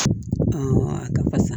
a ka fasa